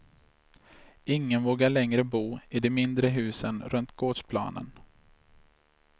Ingen vågar längre bo i de mindre husen runt gårdsplanen.